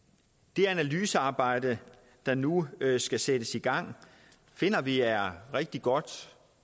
det analysearbejde der nu skal sættes i gang finder vi er rigtig godt